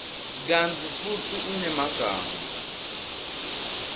kantsi futsi unemagama